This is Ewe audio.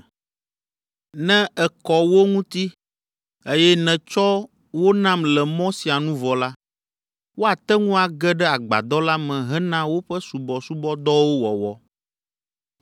“Ne èkɔ wo ŋuti, eye nètsɔ wo nam le mɔ sia nu vɔ la, woate ŋu age ɖe agbadɔ la me hena woƒe subɔsubɔdɔwo wɔwɔ.